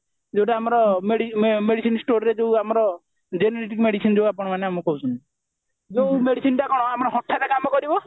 ଯଉଟା ଆମର medicine storeରେ ଯଉଟା ଆମର generic medicine ଦିଅ ଆପଣମାନେ ଆମକୁ କହୁଛନ୍ତି ଯୋଉ medicineଟା କଣ ହଠାତ କାମ କରିବ